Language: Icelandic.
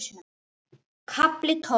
KAFLI TÓLF